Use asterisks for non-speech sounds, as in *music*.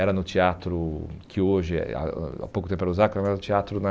Era no teatro que hoje, *unintelligible* há pouco tempo era o Zaca, era no teatro na...